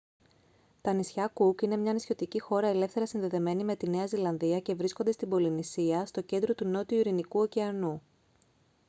τα νησιά κουκ είναι μια νησιωτική χώρα ελεύθερα συνδεδεμένη με τη νέα ζηλανδία και βρίσκονται στην πολυνησία στο κέντρο του νότιου ειρηνικού ωκεανού